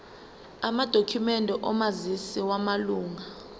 amadokhumende omazisi wamalunga